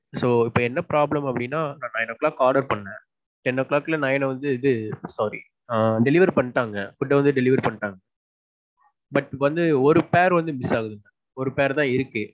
So இப்போ என்ன problem அப்பிடின்னா நான் nine'o clock order பண்ணேன். ten'o clock இல்ல nine வந்து இது sorry. ஆ. delivery பண்ணிட்டாங்க. Food வந்து delivery பண்ணிட்டாங்க. But வந்து ஒரு pair வந்து miss ஆகுது. ஒரு pair தான் இருக்கு.